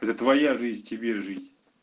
это твоя жизнь тебе жить